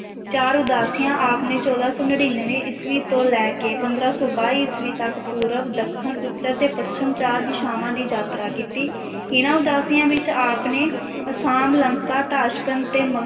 ਚਾਰ ਉਦਾਸੀਆਂ ਆਪ ਨੇ ਚੌਦਾਂ ਸੌ ਨੜ੍ਹਿਨਵੇਂ ਈਸਵੀ ਤੋਂ ਲੈ ਕੇ ਪੰਦਰਾਂ ਸੌ ਬਾਈ ਈਸਵੀ ਤੱਕ ਪੂਰਬ, ਦੱਖਣ, ਉੱਤਰ ਤੇ ਪੱਛਮ ਚਾਰ ਦਿਸ਼ਾਵਾਂ ਦੀ ਯਾਤਰਾ ਕੀਤੀ ਇਹਨਾਂ ਉਦਾਸੀਆਂ ਵਿੱਚ ਆਪ ਨੇ ਅਸਾਮ, ਲੰਕਾ, ਤਾਸ਼ਕੰਦ ਤੇ ਮ~